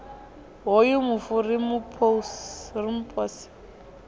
hoyu mufu ri mu pose